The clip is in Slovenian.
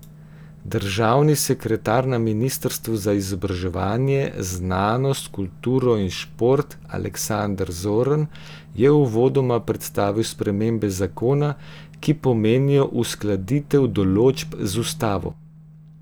Državni sekretar na ministrstvu za izobraževanje, znanost, kulturo in šport Aleksander Zorn je uvodoma predstavil spremembe zakona, ki pomenijo uskladitev določb z ustavo.